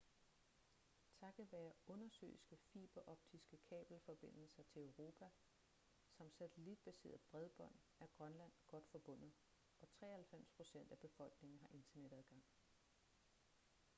takket være undersøiske fiberoptiske kabelforbindelser til europa samt satellitbaseret bredbånd er grønland godt forbundet og 93% af befolkningen har internetadgang